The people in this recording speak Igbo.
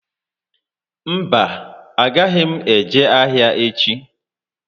Mba, a agaghị m eje ahịa echi